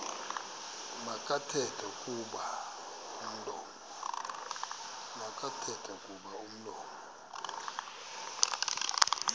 makathethe kuba umlomo